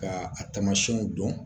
Ka a tamasiyɛnw dɔn